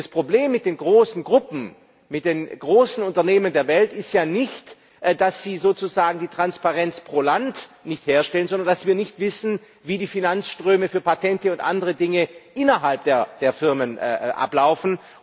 Und das Problem mit den großen Gruppen, mit den großen Unternehmen der Welt ist ja nicht, dass sie sozusagen die Transparenz pro Land nicht herstellen, sondern dass wir nicht wissen, wie die Finanzströme für Patente und andere Dinge innerhalb der Firmen ablaufen.